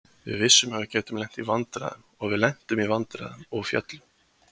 Við vissum að við gætum lent í vandræðum og við lentum í vandræðum og féllum.